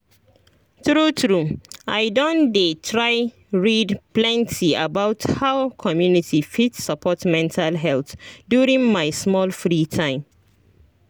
true true i don dey try read plenty about how community fit support mental health during my small free time